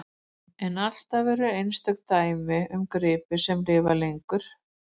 En alltaf eru einstök dæmi um gripi sem lifa lengur.